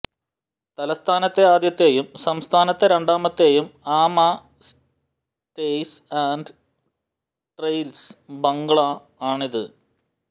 തലസ്ഥാനത്തെ ആദ്യത്തേയും സംസ്ഥാനത്തെ രണ്ടാമത്തേയും Amaa stays and trails bungalow ആണിത്